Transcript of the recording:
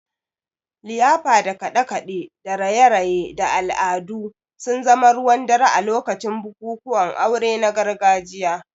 liyafa da kaɗe-kaɗe da raye-raye da al'adu sun zama ruwan dare a lokacin bukukuwan aure na gargajiya.